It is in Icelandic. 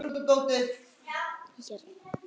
Við skálum við fólkið.